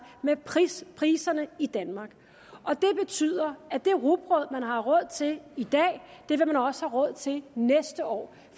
med priserne priserne i danmark det betyder at det rugbrød man har råd til i dag vil man også have råd til næste år